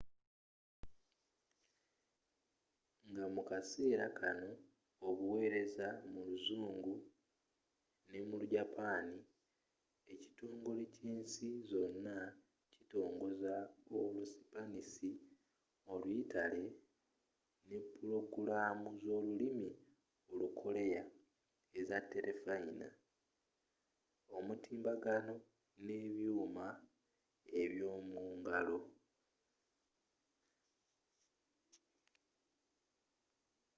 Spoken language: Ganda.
nga mu kaseera kanno baweereza mu luzungu ne mu lu japani ekitongole kyensi zonna kitongoza olu sipanisi oluyitale ne pulogulamu zolulimi olukoleya eza telefayina omutimbagano nebyuuma eb'yomungalo